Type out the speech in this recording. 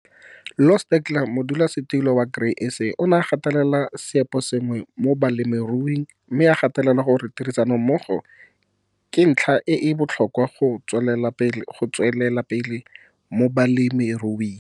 Louw Steytler, Modulasetilo - Grain SA, o ne a tlhalosa seoposengwe mo balemiruing mme a gatelela gore tirisanommogo ke ntlha e e botlhokwa go tswelelapele mo bolemeruing.